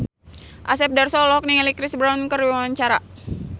Asep Darso olohok ningali Chris Brown keur diwawancara